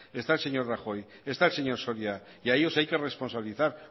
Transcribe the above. está el señor rajoy está el señor soria y a ellos hay que responsabilizar